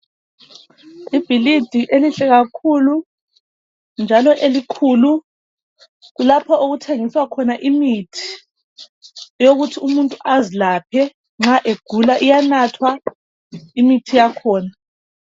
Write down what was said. Ibhilidi elihle kakhulu njalo elikhulu kulapho okuthengiswa khona imithi, yokuthi umuntu azilaphe nxa egula iyanathwa imithi yakhona.